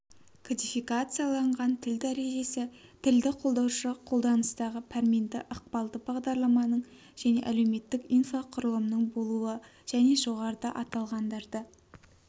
кодификацияланған тіл дәрежесі тілді қолдаушы қолданыстағы пәрменді ықпалды бағдарламаның және әлеуметтік инфрақұрылымның болуы және жоғарыда аталғандарды